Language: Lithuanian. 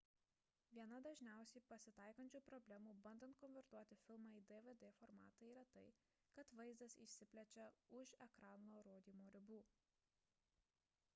viena dažniausiai pasitaikančių problemų bandant konvertuoti filmą į dvd formatą yra tai kad vaizdas išsiplečia už ekrano rodymo ribų